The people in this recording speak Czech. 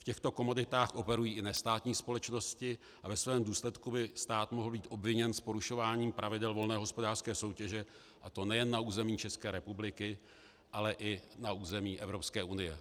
V těchto komoditách operují i nestátní společnosti a ve svém důsledku by stát mohl být obviněn z porušování pravidel volné hospodářské soutěže, a to nejen na území České republiky, ale i na území Evropské unie.